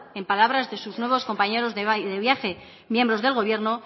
en palabras de sus nuevos compañeros de viaje miembros del gobierno